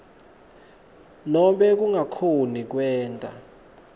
nobe kungakhoni kwenta